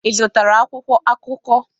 Ị zụtara akwụkwọ akụkọ?